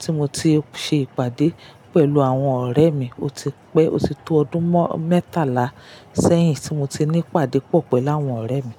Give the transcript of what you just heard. tí mo ti ṣe ìpàdé pẹ̀lú àwọn ọ̀rẹ́ mi. O ti pẹ́, o ti tó ọdún mẹ́tàlá sẹ́yìn tí mo ti ní ìpàdé pọ̀ pẹ̀lú àwọn ọ̀rẹ́ mi.